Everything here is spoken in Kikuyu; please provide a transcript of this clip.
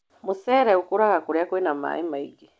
Mũcere ũkũraga kũrĩa kwĩna maĩ maingĩ.